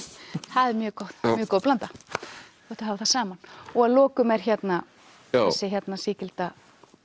það er mjög góð blanda gott að hafa það saman og að lokum er hérna þessi sígilda